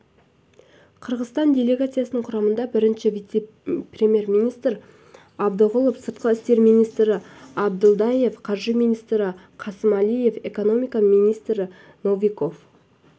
қырғызстан делегациясының құрамында бірінші вице-премьер-министр абдығұлов сыртқы істер министрі абдылдаев қаржы министрі қасымәлиев экономика министрі новиков